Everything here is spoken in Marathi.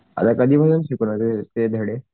आता कधीपासून शिकवणार ते धडे?